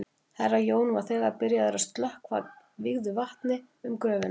Herra Jón var þegar byrjaður að stökkva vígðu vatni um gröfina.